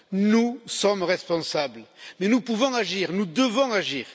Nous sommes responsables, mais nous pouvons agir, nous devons agir.